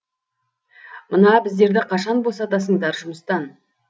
мына біздерді қашан босатасыңдар жұмыстан